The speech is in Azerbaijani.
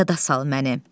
Yada sal məni.